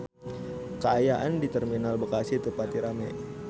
Kaayaan di Terminal Bekasi teu pati rame